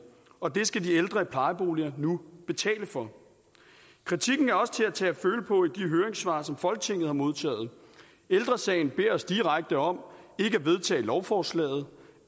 og det skal de ældre i plejeboligerne nu betale for kritikken er også til at tage og som folketinget har modtaget ældre sagen beder os direkte om ikke at vedtage lovforslaget